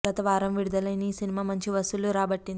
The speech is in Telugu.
గత వారం విడుదల అయిన ఈ సినిమా మంచి వసూళ్లు రాబట్టింది